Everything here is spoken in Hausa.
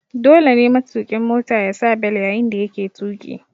Dole ne matuƙin Mota yasa bel yayin da yake tuƙi